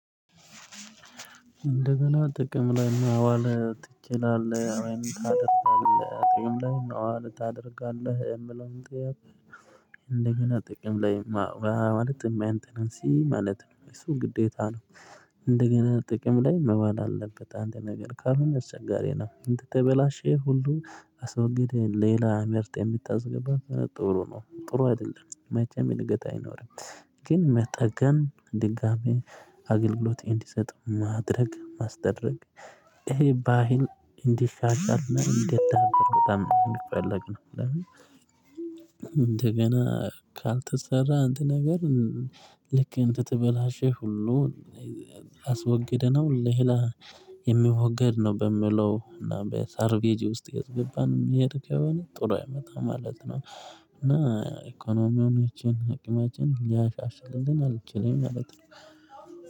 እንደውም ጥቅም ላይ አዋለ ትችላለህ አይን ታጥታለህ ጥቅም ላይ ነው አለ ታደርጋለህ የምለው ጥያቄ። እንደገና ጥቅም ላይ ማለት የሚያንተን እንሲህ ማለት ነው የሱ ግዴታ ነው። እንደገና ጥቅም ላይ መባል አለበት አንተ ነገር ካልሆነ አስቸጋሪ ነው እንድትበላሸው ሁሉ አስወግደህ ሌላ ምርጥ የምታዝግባት ጥሩ ነው ጥሩ አይደለም መጀመሪያ ገጣ አይኖርም። ግን መጠገን ድጋሚ አገልግሎት እንዲሰጥ ማድረግ ማስደረግ። ይሄ ባህል እንዲሻሻል እንዲዳበር በጣም ነው እንደፈለግነው። እንደገና ካልተሰራ እንትን ነገር። ልክ እንትት በላሼ ሁሉ። አስወግደነው ሌላ የሚወገድ ነው በምለው እና በሳርቬጂ ውስጥ የገባንም የሄድክ የሆነ ጥሩ አይመጣም ማለት ነው። እና ኢኮኖሚያችን አቅማችን ሊያሻሽልን ግን አልችልም ማለት ነው።